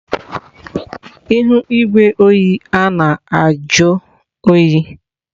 Ihu igwe oyi a na-ajụ oyi.